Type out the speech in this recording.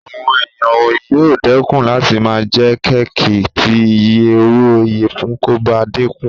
Àwọn èèyàn yóò dẹ́kun láti máa jẹ kéèkì tí iye owó ìyẹ̀fun kò bá dínkù